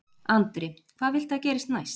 Andri: Hvað viltu að gerist næst?